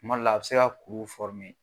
Kuma dɔ la a bi se ka kuru